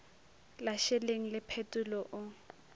la šeleng le phetolo o